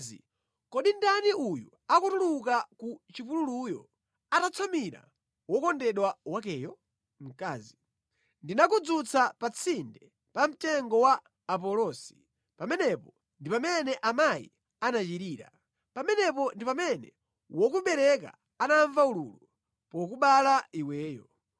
Kodi ndani uyo akutuluka ku chipululuyo, atatsamira wokondedwa wakeyo? Mkazi Ndinakudzutsa pa tsinde pa mtengo wa apulosi, pamenepo ndi pamene amayi anachirira, pamenepo ndi pamene wokubereka anamva ululu pokubala iweyo.